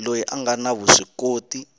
loyi a nga na vuswikoti